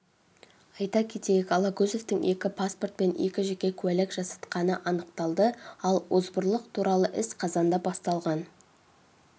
айта кетейік алагөзовтың екі паспорт пен екі жеке куәлік жасатқанынанықтады ал озбырлық туралы іс қазанда басталған